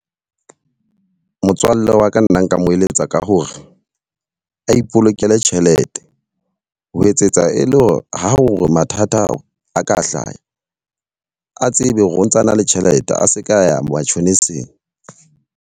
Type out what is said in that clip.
Motswalle wa ka nna nka mo eletsa ka hore, a ipolokele tjhelete. Ho etsetsa e le ha o mathata a ka hlaha a tsebe hore o ntsana le tjhelete. A se ka ya matjhoniseng.